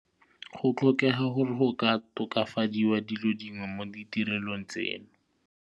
Go tlhokega gore go ka tokafadiwa dilo dingwe mo ditirelong tseno.